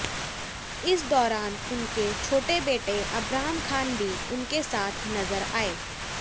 इस दौरान उनके छोटे बेटे अबराम खान भी उनके साथ नजर आए